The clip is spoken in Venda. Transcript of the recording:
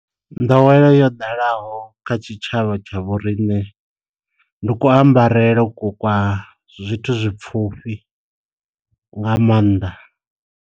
Nḓowelo yo ḓalaho kha tshi tshavha tsha vho riṋe ndi ku ambarele ku kwa zwithu zwi pfufhi nga maanḓa.